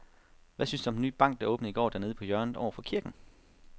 Hvad synes du om den nye bank, der åbnede i går dernede på hjørnet over for kirken?